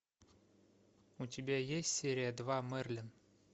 у тебя есть серия два мерлин